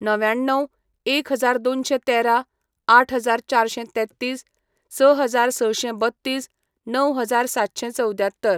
णव्याण्णव, एक हजार दोनशें तेरा, आठ हजार चारशें तेत्तीस, स हजार सशें बत्तीस, णव हजार सातशें चवद्यात्तर.